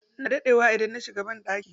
Ina daɗewa idan na shiga banɗaki.